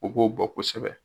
U b'o bɔ kosɛbɛ.